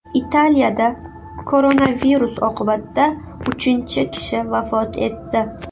Italiyada koronavirus oqibatida uchinchi kishi vafot etdi.